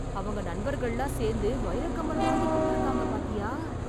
அவங்க நண்பர்கள்லாம் சேர்ந்து வைரக்கம்மல் வாங்கிக் கொடுத்துருக்காங்க பாத்தியா.?